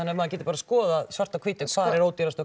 að maður geti bara skoðað svart á hvítu hvar er ódýrast og